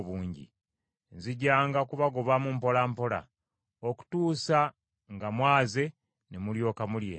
Nzijanga kubagobamu mpola mpola, okutuusa nga mwaze ne mulyoka mulya ensi eyo.